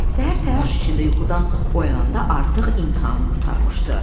Səhər təlaş içində yuxudan oyananda artıq imtahan qurtarmışdı.